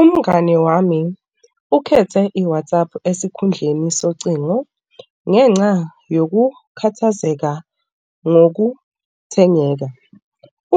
Umngani wami ukhethe i-WhatsApp esikhundleni socingo ngenxa yokukhathazeka ngokuthengeka.